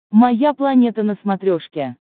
моя планета на смотрешке